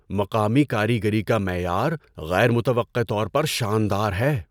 مقامی کاریگری کا معیار غیر متوقع طور پر شاندار ہے۔